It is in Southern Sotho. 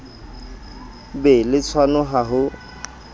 be le tshwano ha ho